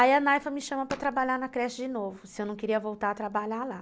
Aí a Naifa me chama para trabalhar na creche de novo, se eu não queria voltar a trabalhar lá.